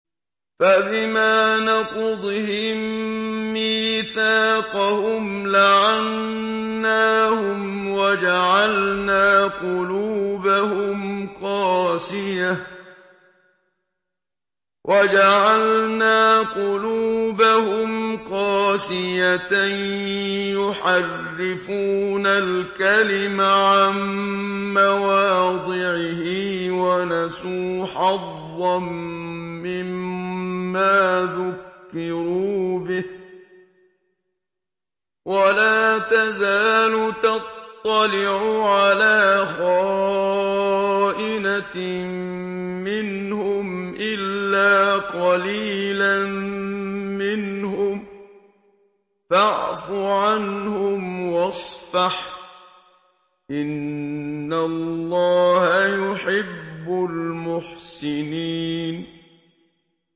فَبِمَا نَقْضِهِم مِّيثَاقَهُمْ لَعَنَّاهُمْ وَجَعَلْنَا قُلُوبَهُمْ قَاسِيَةً ۖ يُحَرِّفُونَ الْكَلِمَ عَن مَّوَاضِعِهِ ۙ وَنَسُوا حَظًّا مِّمَّا ذُكِّرُوا بِهِ ۚ وَلَا تَزَالُ تَطَّلِعُ عَلَىٰ خَائِنَةٍ مِّنْهُمْ إِلَّا قَلِيلًا مِّنْهُمْ ۖ فَاعْفُ عَنْهُمْ وَاصْفَحْ ۚ إِنَّ اللَّهَ يُحِبُّ الْمُحْسِنِينَ